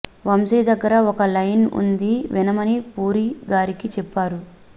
వంశీ దగ్గర ఒక లైన్ ఉంది వినమని పూరి గారికి చెప్పారు